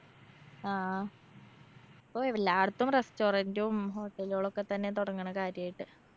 ആ ഇപ്പോ എല്ലാട്ത്തും restaurant ഉം hotel കളൊക്കത്തന്നെ തൊടങ്ങണ് കാര്യായിട്ട്.